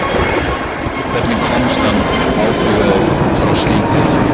Hvernig komst hann óbugaður frá slíku?